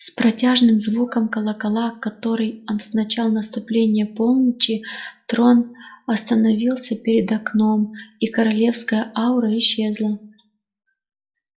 с протяжным звуком колокола который означал наступление полночи трон остановился перед окном и королевская аура исчезла